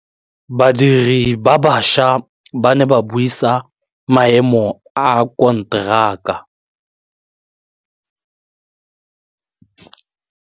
Badiri ba baša ba ne ba buisa maêmô a konteraka.